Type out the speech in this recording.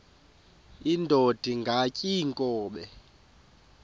indod ingaty iinkobe